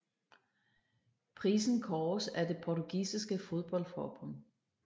Prisen kåres af det Portugisiske fodboldforbund